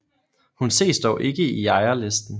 Hun ses dog ikke i ejerlisten